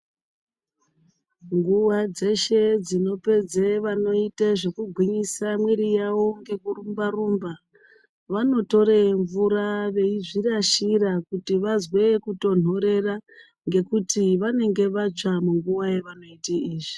Nguva dzeshe dzinopedza vanoita zvekugwinyisa miri yawo ngekurumba rumba vanotora mvura veizvirashira kuti vazwe kutonhorera ngekuti vanenge vatsva munguwa yavanoita izvi.